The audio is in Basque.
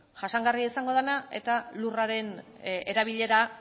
jasangarria izango dena eta lurraren erabilera